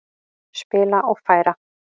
Spila og færa.